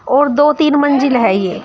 और दो तीन मंजिल है ये--